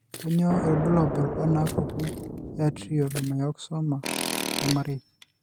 Kainyio irbulabul onaapuku Atrial myxoma, Ormarei?